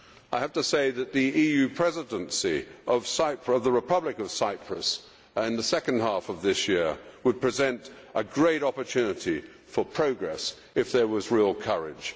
I have to say that the assumption of the EU Presidency by the Republic of Cyprus in the second half of this year would present a great opportunity for progress if there was real courage.